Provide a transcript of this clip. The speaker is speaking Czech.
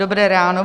Dobré ráno.